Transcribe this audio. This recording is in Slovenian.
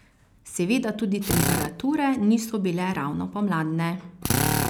Seveda tudi temperature niso bile ravno pomladne.